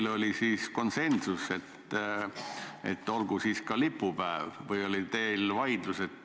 Kas teil oli konsensus, et olgu siis ka lipupäev, või oli teil vaidlus?